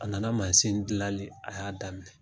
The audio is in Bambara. A nana mansin dilanli a y'a daminɛ